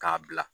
K'a bila